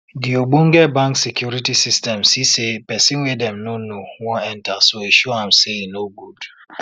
de ogbonge bank security system see say person wey dem no know wan enter so e show am say e no good